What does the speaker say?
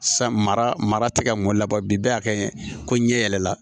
San mara tɛ ka mun labɔ bi bɛɛ kɛ ko ɲɛ yɛlɛla